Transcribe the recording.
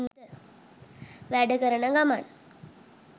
වැඩ කරන ගමන්